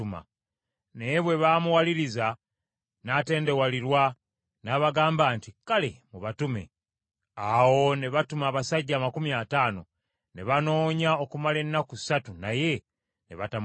Naye bwe baamuwaliriza, n’atendewalirwa, n’abagamba nti, “Kale, mubatume.” Awo ne batuma abasajja amakumi ataano, ne banoonya okumala ennaku ssatu naye ne batamulaba.